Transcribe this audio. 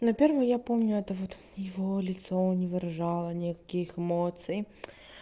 на первое я помню это вот его лицо не выражало никаких эмоций